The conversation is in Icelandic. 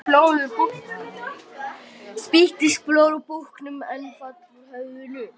Spýttist blóð úr búknum en vall úr höfðinu.